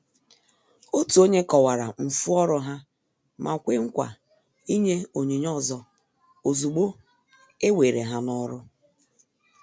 Òtù ònye kọ̀wara mfu ọrụ ha ma kwè nkwa ịnye onyinye ọzọ ozúgbo e were ha n' ọrụ.